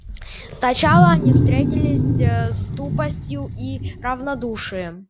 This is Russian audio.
сначала они встретились ээ с тупостью и равнодушием